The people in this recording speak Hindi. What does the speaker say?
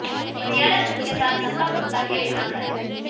पटियाला सूट के साथ लंबा कुर्ता कैरी ना करें